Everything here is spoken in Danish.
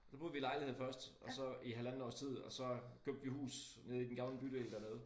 Så boede vi i lejligheden først og så i halvandet års tid og så købte vi hus nede i den gamle bydel dernede